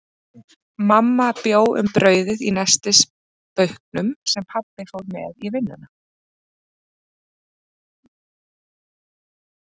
Mamma bjó um brauðið í nestisbauknum, sem pabbi fór með í vinnuna.